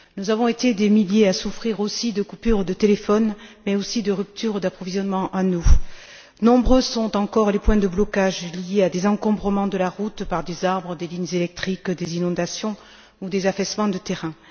Nous avons été des milliers à souffrir aussi de coupures de téléphone, mais aussi de ruptures d'approvisionnement en eau. Nombreux sont encore les points de blocage liés à des encombrements de la route par des arbres, des lignes électriques, des inondations ou des affaissements de terrain.